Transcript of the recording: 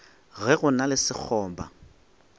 ge go na le sekgoba